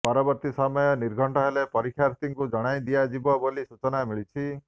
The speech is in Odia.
ପରବର୍ତ୍ତୀ ସମୟ ନିର୍ଘଣ୍ଟ ହେଲେ ପରୀକ୍ଷାର୍ଥୀଙ୍କୁ ଜଣାଇଦିଆଯିବ ବୋଲି ସୂଚନା ମିଳିଛି